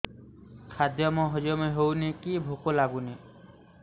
ଖାଦ୍ୟ ହଜମ ହଉନି କି ଭୋକ ଲାଗୁନି